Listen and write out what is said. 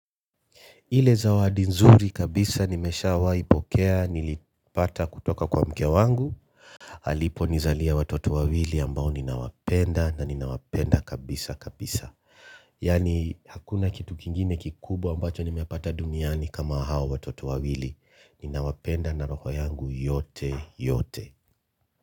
Ile zawadi nzuri kabisa nimeshawai pokea nilipata kutoka kwa mke wangu. Alipo nizalia watoto wawili ambao ninawapenda na ninawapenda kabisa kabisa. Yani hakuna kitu kingine kikubwa ambacho nimepata duniani kama hao watoto wawili. Ninawapenda na roho yangu yote yote.